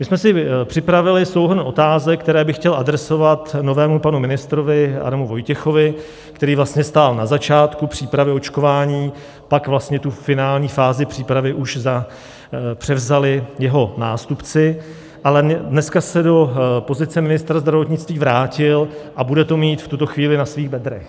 My jsme si připravili souhrn otázek, které bych chtěl adresovat novému panu ministrovi Adamu Vojtěchovi, který vlastně stál na začátku přípravy očkování, pak vlastně tu finální fázi přípravy už převzali jeho nástupci, ale dneska se do pozice ministra zdravotnictví vrátil a bude to mít v tuto chvíli na svých bedrech.